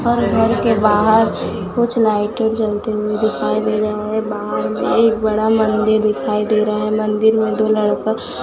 और घर के बाहर कुछ लाइटें जलती हुई दिखाई दे रहा हैं बाहर में एक बड़ा मंदिर दिखाई दे रहा हैं मंदिर में दो लड़का--